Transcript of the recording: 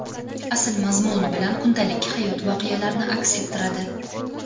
asl mazmuni bilan kundalik hayot voqealarini aks ettiradi.